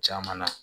Caman na